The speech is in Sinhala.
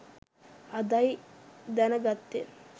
අදයි දැන ගත්තෙ